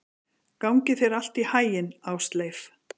Gangi þér allt í haginn, Ásleif.